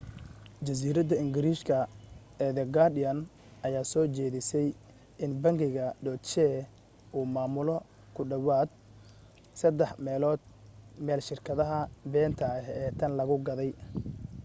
jariiradda ingiriiska ee the guardian ayaa soo jeedisay in bangiga deutsche uu maamulo ku dhowaad saddex meelood meel shirkadaha beenta ah ee tan lagu gaadhay